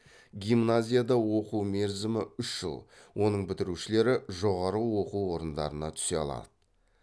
гимназияда оқу мерзімі үш жыл оның бітірушілері жоғары оқу орындарына түсе алалады